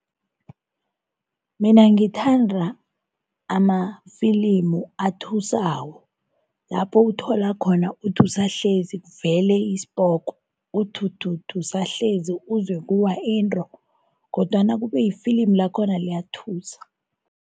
Mina ngithanda amafilimu athusako. Lapho uthola khona uthi usahlezi kuvele isipoko, uthuthuthi usahlezi kuwa into kodwana kube ifilimu lakhona liyathusa.